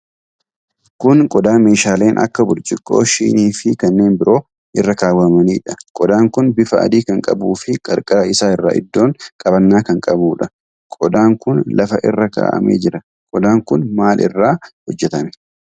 Kun qodaa meeshaaleen akka burcuqqoo, shinii fi kanneen biroo irra kawwamanidha. Qodaan kun bifa adii kan qabuufii qarqara isaa irraan iddoo qabannaa kan qabuudha. Qodaan kun lafa irra kaa'amee jira. Qodaan kun maal irraa hojjatame?